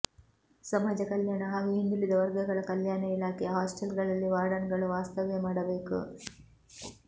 ಸಮಾಜ ಕಲ್ಯಾಣ ಹಾಗೂ ಹಿಂದುಳಿದ ವರ್ಗಗಳ ಕಲ್ಯಾಣ ಇಲಾಖೆ ಹಾಸ್ಟೆಲ್ಗಳಲ್ಲಿ ವಾರ್ಡನ್ಗಳು ವಾಸ್ತವ್ಯ ಮಾಡಬೇಕು